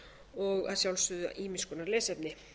og að sjálfsögðu ýmiss konar lesefni